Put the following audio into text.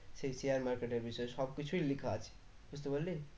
সেই share market এর বিষয় সব কিছুই লেখা আছে বুঝতে পারলি?